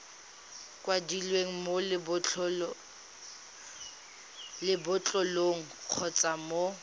kwadilweng mo lebotlolong kgotsa mo